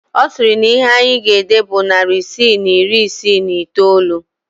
Ọ sịrị na ihe anyị ga-ede bụ narị isii na iri isii na iteolu